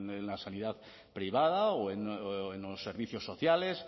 en la sanidad privada o en los servicios sociales